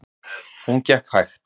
Hún gekk hægt.